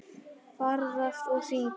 Ferðast og syngja.